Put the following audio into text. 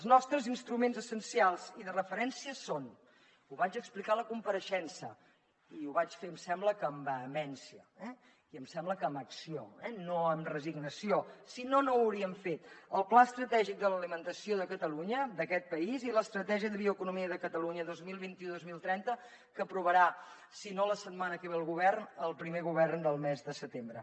els nostres instruments essencials i de referència són ho vaig explicar a la compareixença i ho vaig fer em sembla que amb vehemència i em sembla que amb acció no amb resignació si no no ho hauríem fet el pla estratègic de l’alimentació de catalunya d’aquest país i l’estratègia de la bioeconomia de catalunya dos mil vint u dos mil trenta que aprovarà si no la setmana que ve el govern el primer govern del mes de setembre